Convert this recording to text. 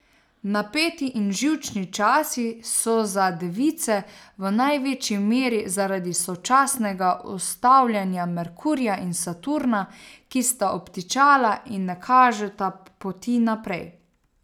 Napeti in živčni časi so, za device v največji meri zaradi sočasnega ustavljanja Merkurja in Saturna, ki sta obtičala in ne kažeta poti naprej.